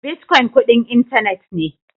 Bitcoin kudin intanet ne.